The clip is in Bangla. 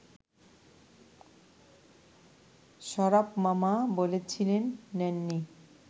শরাফ মামা বলেছিলেন নেননি